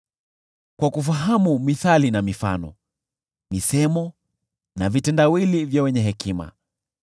kwa kufahamu mithali na mifano, misemo na vitendawili vya wenye hekima.